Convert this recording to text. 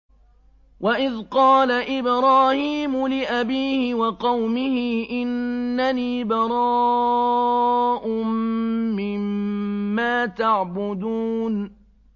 وَإِذْ قَالَ إِبْرَاهِيمُ لِأَبِيهِ وَقَوْمِهِ إِنَّنِي بَرَاءٌ مِّمَّا تَعْبُدُونَ